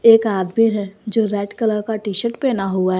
एक आदमी है जो रेड कलर का टी शर्ट पहना हुआ है।